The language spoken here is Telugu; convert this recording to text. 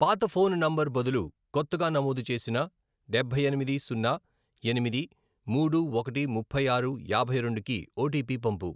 పాత ఫోన్ నంబర్ బదులు కొత్తగా నమోదు చేసిన డబ్బై ఎనిమిది, సున్నా, ఎనిమిది, మూడు, ఒకటి, ముప్పై ఆరు, యాభై రెండు, కి ఓటీపీ పంపు.